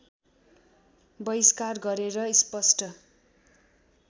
वहिष्कार गरेर स्पष्ट